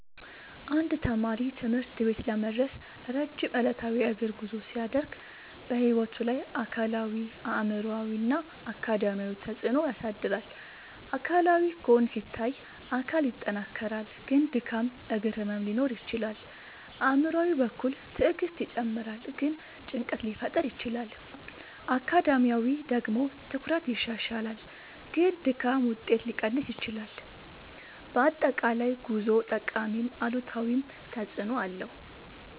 አንድ ልጅ ትምህርት ቤት ለመድረስ ረጅም ዕለታዊ የእግር ጉዞ ሲያደርግ በሕይወቱ ላይ አካላዊ አእምሯዊ እና አካዳሚያዊ ተፅዕኖ ያሳድራል። አካላዊ ጎን ሲታይ አካል ይጠናከራል ግን ድካም እግር ህመም ሊኖር ይችላል። አእምሯዊ በኩል ትዕግስት ይጨምራል ግን ጭንቀት ሊፈጠር ይችላል። አካዳሚያዊ ደግሞ ትኩረት ይሻሻላል ግን ድካም ውጤት ሊቀንስ ይችላል። በአጠቃላይ ጉዞው ጠቃሚም አሉታዊም ተፅዕኖ አለው።